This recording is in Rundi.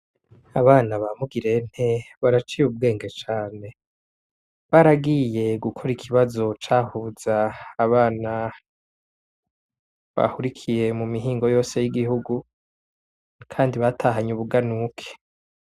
Abana ba Mugirente baraciye ubwenge cane. Baragiye gukora ikibazo cahuza abana bahurikiye mu mihingo yose y'igihugu kandi batahanye ubuganuke.